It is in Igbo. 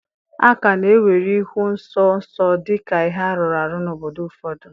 A ka na-ewere ịhụ nsọ nsọ dị ka ihe arụrụ arụ n'obodo ụfọdụ